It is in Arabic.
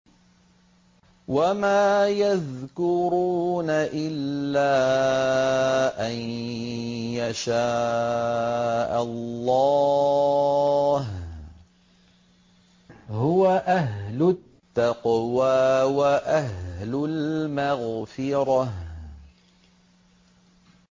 وَمَا يَذْكُرُونَ إِلَّا أَن يَشَاءَ اللَّهُ ۚ هُوَ أَهْلُ التَّقْوَىٰ وَأَهْلُ الْمَغْفِرَةِ